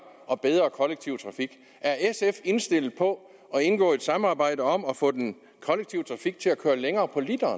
og bedre kollektiv trafik er sf indstillet på at indgå i et samarbejde om at få den kollektive trafik til at køre længere på literen